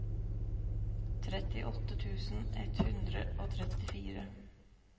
trettiåtte tusen ett hundre og trettifire